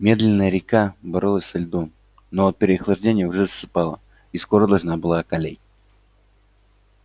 медленная река боролась со льдом но от переохлаждения уже засыпала и скоро должна была околеть